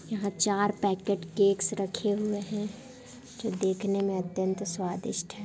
यहाँ चार packet cakes रखे हुए हैं जो देखने में अत्यंत स्वादिष्ट हैं।